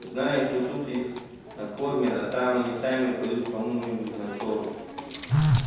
знаю что тут их накормят а там они сами пойдут кому нибудь на корм